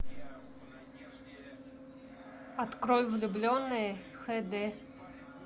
открой влюбленные хд